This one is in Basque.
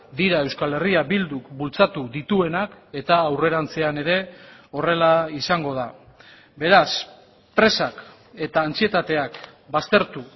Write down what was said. dira euskal herria bilduk bultzatu dituenak eta aurrerantzean ere horrela izango da beraz presak eta antsietateak baztertu